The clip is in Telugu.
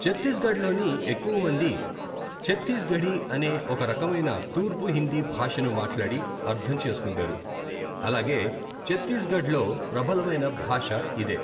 ఛత్తీస్గఢ్లోని ఎక్కువమంది ఛత్తీస్గఢీ అనే ఓ రకమైన తూర్పు హిందీ భాషను మాట్లాడి అర్థం చేసుకుంటారు, అలాగే ఛత్తీస్గఢ్లో ప్రబలమైన భాష ఇదే.